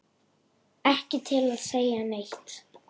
Ekki til að segja neitt.